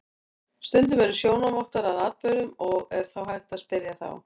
Stundum eru sjónarvottar að atburðum og er þá hægt að spyrja þá.